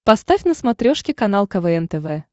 поставь на смотрешке канал квн тв